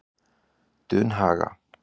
Dunhaga